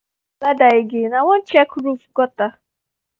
i fit borrow your ladder again? i wan check roof gutter